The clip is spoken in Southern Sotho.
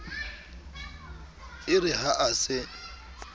e re ha a se